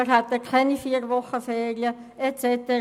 wir hätten keine vier Wochen Ferien et cetera.